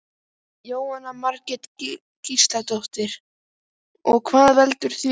Jóhanna Margrét Gísladóttir: Og hvað veldur því?